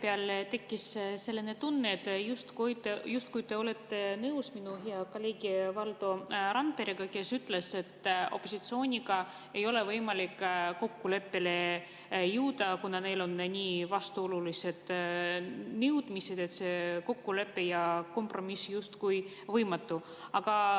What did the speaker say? Mul tekkis vahepeal selline tunne, justkui te oleksite nõus minu kolleegi Valdo Randperega, kes ütles, et opositsiooniga ei ole võimalik kokkuleppele jõuda, kuna neil on nii vastuolulised nõudmised, et kokkulepe ja kompromiss on justkui võimatu.